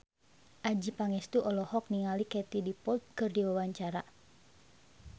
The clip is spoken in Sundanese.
Adjie Pangestu olohok ningali Katie Dippold keur diwawancara